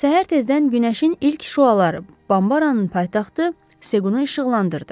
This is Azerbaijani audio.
Səhər tezdən günəşin ilk şüaları Bambaranın paytaxtı Sequnu işıqlandırdı.